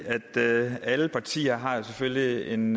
at alle partier selvfølgelig har en